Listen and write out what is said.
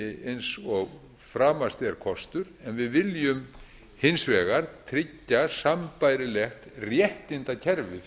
eins og framast er kostur en við viljum hins vegar tryggja sambærilegt réttindakerfi